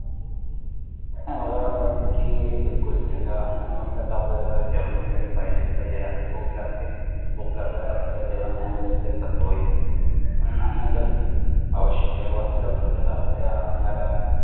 मला असं वाटते कि बिलकुल ज्याला अन्न वस्त्र जेवण्यासाठी तर आपल्या पाहिजेच पाहिजे रात्री भूक लागते भूक लागायलावर वर आपल्या जेवण नाही मिळालं तर कस होईल अन्न तर आवश्यक आहे वस्त्र म्हंटल तर आपल्या या अंगाला